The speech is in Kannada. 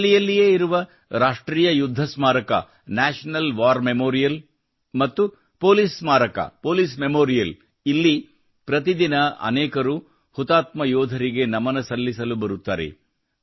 ದೆಹಲಿಯಲ್ಲಿಯೇ ಇರುವ ರಾಷ್ಟ್ರೀಯ ಯುದ್ಧ ಸ್ಮಾರಕ ನ್ಯಾಷನಲ್ ವಾರ್ ಮೆಮೋರಿಯಲ್ ಮತ್ತು ಪೊಲೀಸ್ ಸ್ಮಾರಕ ಪೊಲೀಸ್ ಮೆಮೋರಿಯಲ್ ನಲ್ಲಿ ಪ್ರತಿದಿನ ಅನೇಕರು ಹುತಾತ್ಮ ಯೋಧರಿಗೆ ನಮನ ಸಲ್ಲಿಸಲು ಬರುತ್ತಾರೆ